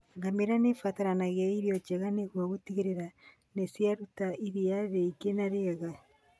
Ngamĩra nĩ ibataraga irio njega nĩguo gũtigarĩra nĩ ciaruta iria rĩĩngĩ na rĩega.